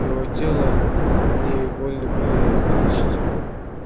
его тело они вольны были искалечить